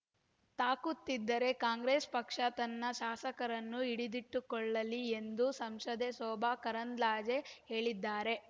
ತಾಕುತ್ತಿದ್ದರೆ Congress ಪಕ್ಷ ತನ್ನ ಶಾಸಕರನ್ನು ಹಿಡಿದಿಟ್ಟುಕೊಳ್ಳಲಿ ಎಂದು ಸಂಸದೆ ಶೋಭಾ ಕರಂದ್ಲಾಜೆ ಹೇಳಿದ್ದಾರೆ